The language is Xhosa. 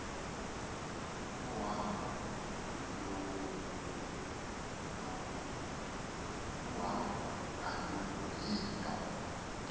uhambo kaloku yinto